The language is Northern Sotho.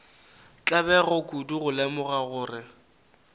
tlabega kudu go lemoga gore